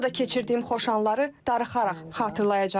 Burada keçirdiyim xoş anları darıxaraq xatırlayacam.